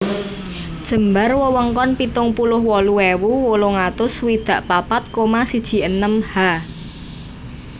Jembar wewengkon pitung puluh wolu ewu wolung atus swidak papat koma siji enem Ha